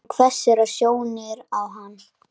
Hún hvessir sjónir á hann.